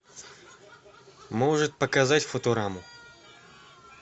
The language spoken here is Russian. может показать футураму